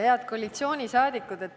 Head koalitsioonisaadikud!